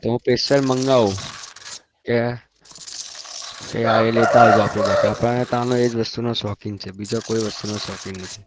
તો હું special માંગવું કે કે આ લેતા આવજો આપણી આપણે ત્યાનો એ વસ્તુનો શોખીન છે બીજા કોઈ વસ્તુ નો શોખીન નથી